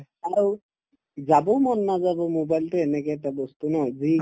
যাবও মন নাযাব mobile তো এনেকা এটা বস্তু ন যি